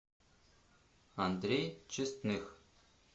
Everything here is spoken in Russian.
андрей честных